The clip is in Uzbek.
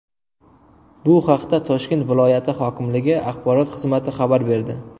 Bu haqda Toshkent viloyati hokimligi axborot xizmati xabar berdi.